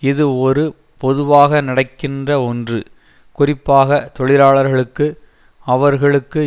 இது ஒரு பொதுவாக நடக்கின்ற ஒன்று குறிப்பாக தொழிலாளர்களுக்கு அவர்களுக்கு